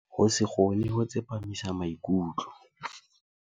Ho se kgone ho tsepamisa maikutlo.